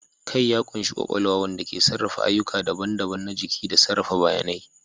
Kai ya ƙunshi kwakwalwa, wanda ke sarrafa ayyuka daban-daban na jiki da sarrafa bayanai.